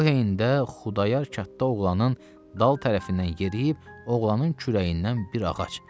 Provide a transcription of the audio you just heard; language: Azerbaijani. Bu heynədə Xudayar katta oğlanın dal tərəfindən yeriyib oğlanın kürəyindən bir ağac.